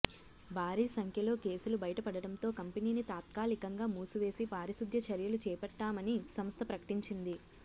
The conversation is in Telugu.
భారీ సంఖ్యలో కేసులు బయటపడడంతో కంపెనీని తాత్కాలికంగా మూసివేసి పారిశుద్ద్య చర్యలు చేపట్టామని సంస్థ ప్రకటించింది